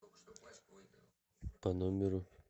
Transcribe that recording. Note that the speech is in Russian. по номеру